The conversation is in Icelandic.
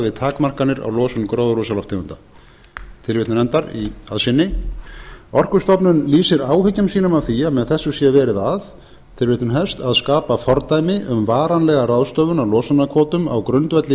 við takmarkanir á losun gróðurhúsalofttegunda orkustofnun lýsir áhyggjum sínum af því að með þessu sé verið að skapa fordæmi um varanlega ráðstöfun á losunarkvótum á grundvelli